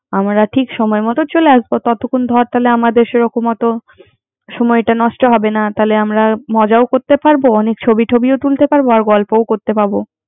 আমরা ঠিক সময় মত চলে আসবো। ততখন ধর আমাদের সেরকম হয়তো সময়টা নষ্ঠ হবে না। তাহলে আমরা মজাটাও করতে পারবো, অনেক ছবি টবিও তুলতে পারেবো। আর গল্প করতে পারবো।